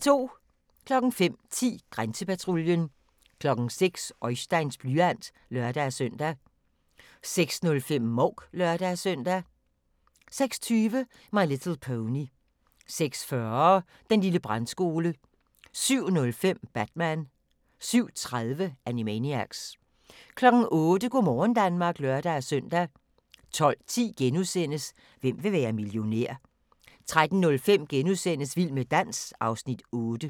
05:10: Grænsepatruljen 06:00: Oisteins blyant (lør-søn) 06:05: Mouk (lør-søn) 06:20: My Little Pony 06:40: Den lille brandskole 07:05: Batman 07:30: Animaniacs 08:00: Go' morgen Danmark (lør-søn) 12:10: Hvem vil være millionær? * 13:05: Vild med dans (Afs. 8)*